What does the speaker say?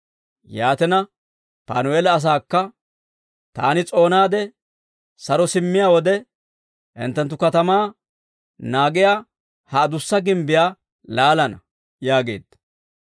Yaatina, Panu'eela asaakka, «Taani s'oonaade saro simmiyaa wode, hinttenttu katamaa naagiyaa ha adussa gimbbiyaa laalana» yaageedda.